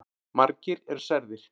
Margir eru særðir.